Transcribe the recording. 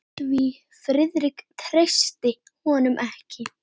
Því Friðrik treysti honum ekki.